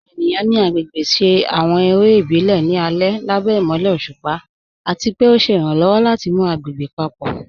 Àwọn ènìyàn ni agbégbè ṣé àwọn èrè ìbílẹ̀ ní alẹ̀ lábẹ̀ imọ̀lẹ̀ ọ̀ṣupa, àti pẹ̀ o ṣé iràǹlọ́wọ̀ láti mú agbégbè papọ.